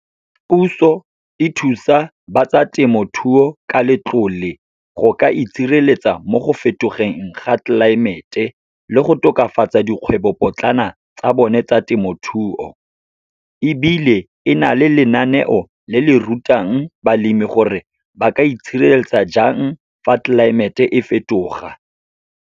Puso e thusa ba tsa temothuo ka letlole, go ka itshireletsa mo go fetogeng ga tlelaemete le go tokafatsa dikgwebopotlana tsa bone tsa temothuo. Ebile e na le lenaneo le le rutang balemi gore ba ka itshireletsa jang, fa tlelaemete e fetoga.